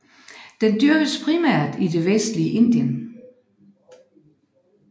Den dyrkes primært i det vestlige Indien